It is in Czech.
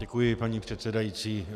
Děkuji, paní předsedající.